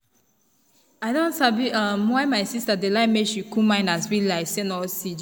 i don sabi um why my sister dey like make she cool mind and spirit like say na oxygen.